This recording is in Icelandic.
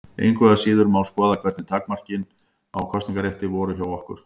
Engu að síður má skoða hvernig takmarkanir á kosningarétti voru hjá okkur.